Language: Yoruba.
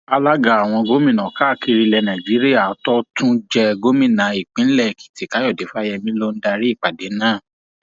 alága àwọn gómìnà káàkiri ilẹ nàíjíríà tó tún jẹ gómìnà ìpínlẹ èkìtì káyọdé fáyemí ló darí ìpàdé náà